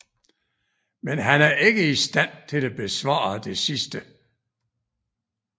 Men han er ikke i stand til at besvare det sidste